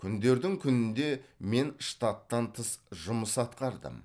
күндердің күнінде мен штаттан тыс жұмыс атқардым